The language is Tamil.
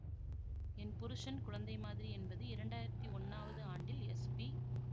என் புருசன் குழந்தை மாதிரி என்பது இரண்டாயிரத்தி ஒன்னாவது ஆண்டில் எஸ்பி